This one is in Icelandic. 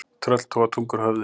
Tröll toga tungu úr höfði.